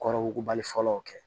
Kɔrɔ wugubali fɔlɔ kɛ